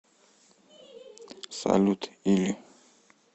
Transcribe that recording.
салют или